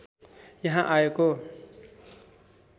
यहाँ आएको